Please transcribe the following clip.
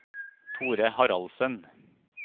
Thore Haraldsen